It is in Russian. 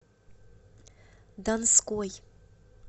донской